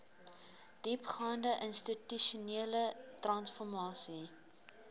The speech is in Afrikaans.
diepgaande institusionele transformasie